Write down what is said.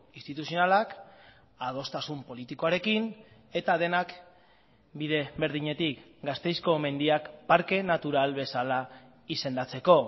instituzionalak adostasun politikoarekin eta denak bide berdinetik gasteizko mendiak parke natural bezala izendatzeko